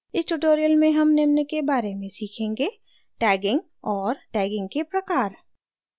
इस tutorial में हम निम्न के बारे में सीखेंगे: